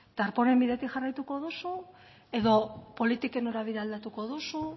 darpónen bidetik jarraituko duzu edo politiken norabidea aldatuko duzu